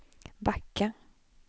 backa